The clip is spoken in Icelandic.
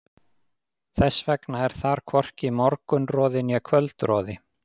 Þess vegna er þar hvorki morgunroði né kvöldroði.